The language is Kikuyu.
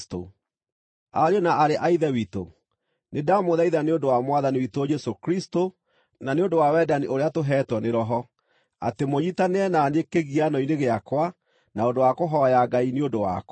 Ariũ na aarĩ a Ithe witũ, nĩndamũthaitha nĩ ũndũ wa Mwathani witũ Jesũ Kristũ na nĩ ũndũ wa wendani ũrĩa tũheetwo nĩ Roho, atĩ mũnyiitanĩre na niĩ kĩgiano-inĩ gĩakwa na ũndũ wa kũhooya Ngai nĩ ũndũ wakwa.